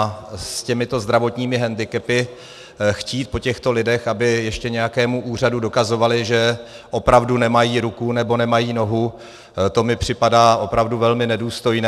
A s těmito zdravotními hendikepy chtít po těchto lidech, aby ještě nějakému úřadu dokazovali, že opravdu nemají ruku nebo nemají nohu, to mi připadá opravdu velmi nedůstojné.